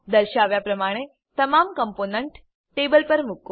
દર્શાવ્યા પ્રમાણે તમામ કમ્પોનન્ટ ટેબલ પર મુકો